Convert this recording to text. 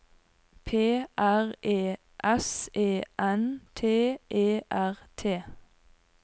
P R E S E N T E R T